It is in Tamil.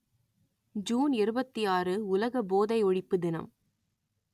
ஜூன் இருபத்தி ஆறு உலக போதை ஒழிப்பு தினம்